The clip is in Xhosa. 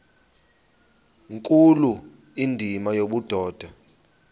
nkulu indima yobudoda